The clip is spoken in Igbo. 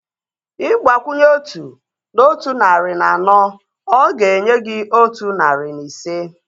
Ịgbakwunye otu na otu narị na anọ, ọ ga-enye gị otu narị na ise